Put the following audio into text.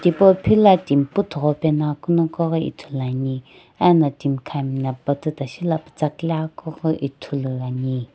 pau phila timi puthugho pe ngoakeu noqoghi ithuluani ena timi khami no pututa shela putsa kile aghi kughi ithulu ani.